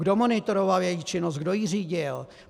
Kdo monitoroval její činnost, kdo ji řídil?